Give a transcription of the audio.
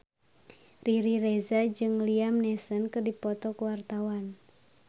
Riri Reza jeung Liam Neeson keur dipoto ku wartawan